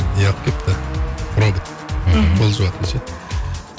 не алып келіпті робот мхм пол жуатын ше